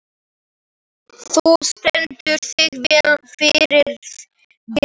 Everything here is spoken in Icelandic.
Þú stendur þig vel, Friðgeir!